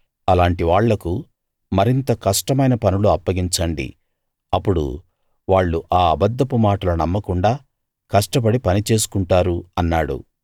అలాంటి వాళ్లకు మరింత కష్టమైన పనులు అప్పగించండి అప్పుడు వాళ్ళు ఆ అబద్ధపు మాటలు నమ్మకుండా కష్టపడి పని చేసుకుంటారు అన్నాడు